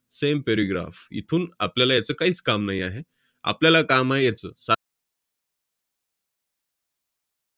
same paragraph इथून आपल्याला याचं काहीच काम नाही आहे. आपल्याला काम आहे याचं, सा~